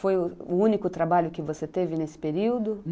Foi o único trabalho que você teve nesse período?